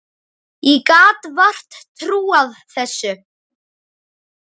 Ég gat vart trúað þessu.